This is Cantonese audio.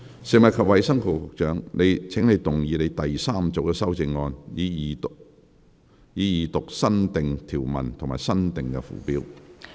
食物及衞生局局長，請動議你的第三組修正案，以二讀新訂條文及新訂附表。